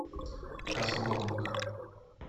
касабланка